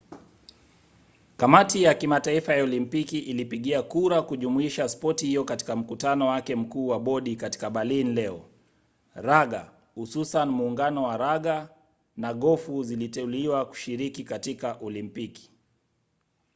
kamati ya kimataifa ya olimpiki ilipigia kura kujumuisha spoti hiyo katika mkutano wake mkuu wa bodi katika berlin leo. raga hususan muungano wa raga na gofu ziliteuliwa kushiriki katika olimpiki